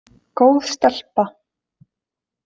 Góð stelpa.